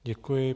Děkuji.